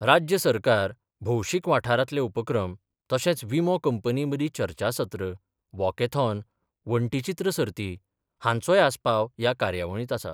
राज्य सरकार, भौशीक वाठारांतले उपक्रम तशेंच विमो कंपनी मदीं चर्चासत्र, वॉकेथॉन, वण्टीचित्र सर्ती हांचोय आस्पाव ह्या कार्यावळींत आसा.